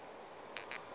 ba be ba re go